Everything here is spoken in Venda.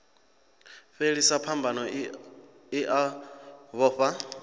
fhelisa phambano i a vhofha